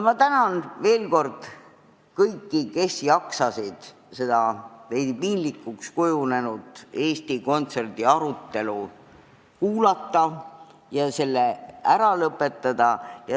Ma tänan veel kord kõiki, kes jaksasid kuulata seda piinlikuks kujunenud arutelu Eesti Kontserdi teemal, mis nüüd peaks lõppema!